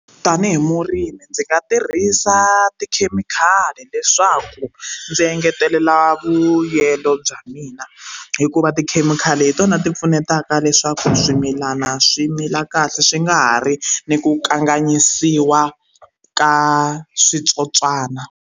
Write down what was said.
Tanihi murimi ndzi nga tirhisa tikhemikhali leswaku ndzi engetelela vuyelo bya mina hikuva tikhemikhali hi tona ti pfunetaka leswaku swimilana swi mila kahle swi nga ha ri ni ku kanganyisiwa ka switsotswana.